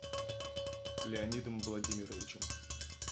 леонидом владимировичем